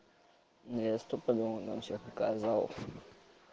я стопудово там всех наказал